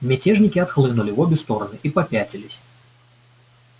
мятежники отхлынули в обе стороны и попятились